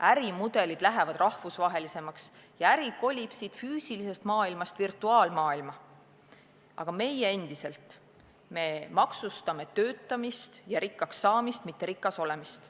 Ärimudelid lähevad rahvusvahelisemaks ja äri kolib füüsilisest maailmast virtuaalmaailma, aga meie endiselt maksustame töötamist ja rikkaks saamist, mitte rikas olemist.